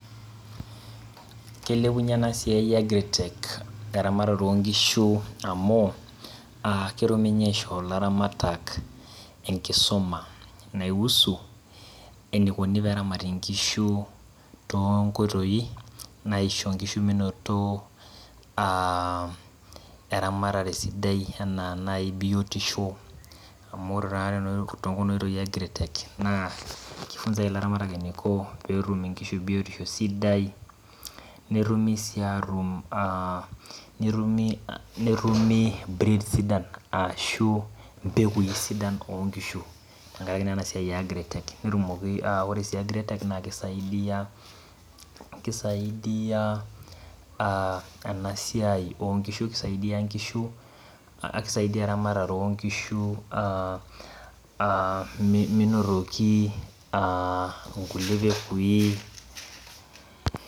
Keilepunye enasia e agritech eramatare onkishu amu ketumi nye aisho laramatak enkisuma naihusu enikuni peramati nkishu tonkoitoi naisho nkishu minoto aa eramatare sidai anaa nai biotisho amu ore nai tenaoitoi e [cs,Magritech kifunzae laramatak eniko petum nkishu biotisho sidai netumu si atum netumu breed arashu mpekui sidan tenkaraki enasiai e agritech na kisaidia a enasiai onkishu kisaidia eramatare onkishu aa aa minotoki aa nkulie pekui.